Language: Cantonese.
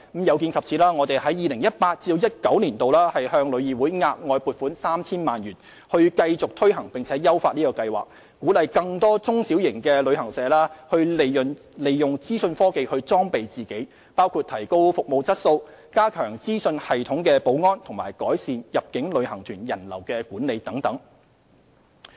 有見及此，我們在 2018-2019 年度向旅議會額外撥款 3,000 萬元，以繼續推行並優化計劃，鼓勵更多中小型旅行社利用資訊科技裝備自己，包括提高服務質素、加強資訊系統保安，以及改善入境旅行團人流管理等。